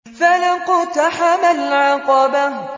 فَلَا اقْتَحَمَ الْعَقَبَةَ